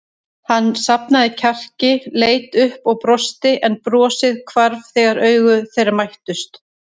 Hann safnaði kjarki, leit upp og brosti en brosið hvarf þegar augu þeirra mættust.